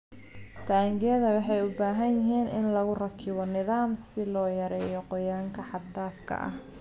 Taangiyada waxay u baahan yihiin in lagu rakibo nidaam si loo yareeyo qoyaanka xad-dhaafka ah.